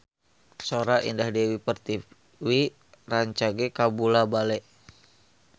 Sora Indah Dewi Pertiwi rancage kabula-bale